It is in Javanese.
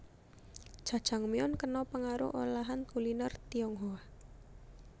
Jajangmyeon kena pengaruh olahan kuliner Tionghoa